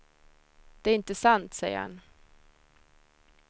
Det är inte sant, säger han.